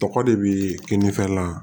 Tɔgɔ de bi keninge la